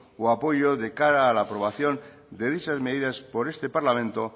o apoyo de cara a la aprobación de dichas medidas por este parlamento